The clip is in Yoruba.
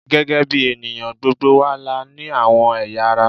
Gẹ́gẹ́ bí ènìyàn, gbogbo wa la ní àwọn ẹ̀yà ara